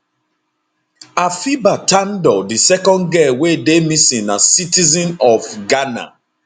afiba tandor di second girl wey dey missing na citizen of ghana